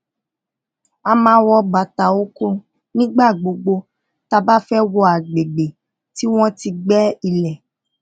a máa wọ bàtà oko nígbà gbogbo tá bá fé wọ àgbègbè tí wón ti gbé ilé